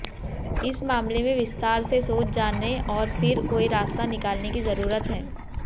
इस मामले में विस्तार से सोच जाने और फिर कोई रास्ता निकालने की जरूरत है